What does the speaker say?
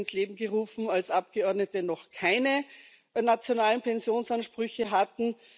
Er wurde ins Leben gerufen, als Abgeordnete noch keine nationalen Pensionsansprüche hatten.